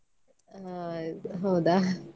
ಅಹ್ ಹೌದಾ?